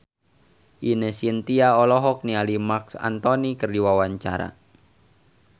Ine Shintya olohok ningali Marc Anthony keur diwawancara